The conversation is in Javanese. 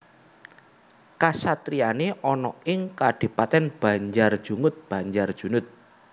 Kasatriyane ana ing Kadipaten Banjarjungut Banjarjunut